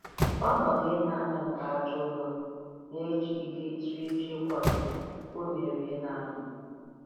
Ọnodu inya anya nke aja ụrọ na-ejigide ijiriji ịkwado unere ina-amị.